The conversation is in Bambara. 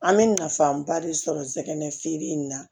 An bɛ nafaba de sɔrɔ zɛn in na